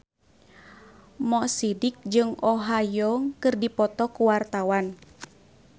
Mo Sidik jeung Oh Ha Young keur dipoto ku wartawan